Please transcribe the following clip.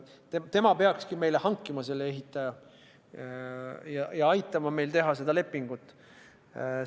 Tema peakski meile ehitaja hankima ja aitama meil lepingut teha.